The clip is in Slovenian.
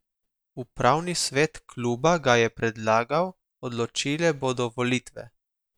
Upravni svet kluba ga je predlagal, odločile bodo volitve.